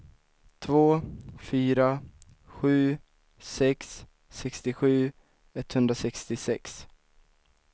två fyra sju sex sextiosju etthundrasextiosex